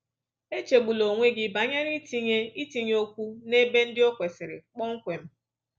Echegbula onwe gị banyere itinye itinye okwu n’ebe ndị o kwesịrị kpọmkwem